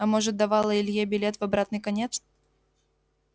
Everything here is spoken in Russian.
а может давала илье билет в обратный конец